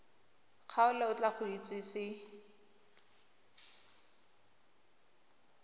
kgaolo o tla go itsise